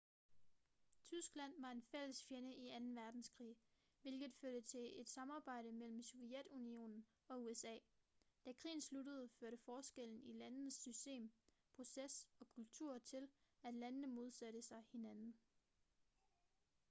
tyskland var en fælles fjende i 2. verdenskrig hvilket førte til et samarbejde mellem sovjetunionen og usa da krigen sluttede førte forskellen i landenes system proces og kultur til at landene modsatte sig hinanden